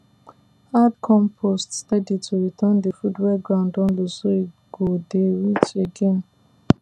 add compost steady to return the food wey ground don lose so e go dey rich again